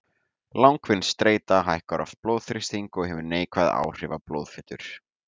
Langvinn streita hækkar oft blóðþrýsting og hefur neikvæð áhrif á blóðfitur.